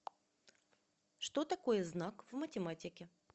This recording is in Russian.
что такое знак в математике